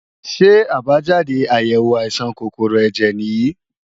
Ṣé àbájáde àyèwò àìsàn kòkòrò ẹ̀jẹ̀ nìyí?